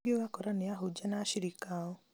kũngĩ ũgakora nĩ ahunjia na ashirika ao